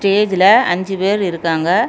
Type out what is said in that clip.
ஸ்டேஜ்ல அஞ்சு பேர் இருக்காங்க.